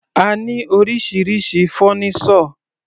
A ní oríṣiríṣi fọ́nísọ̀.